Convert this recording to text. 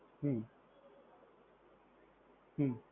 હ્મ હ્મ